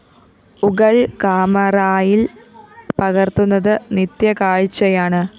ുകള്‍ കാമറായില്‍ പകര്‍ത്തുന്നത് നിത്യകാഴ്ച്ചയാണ്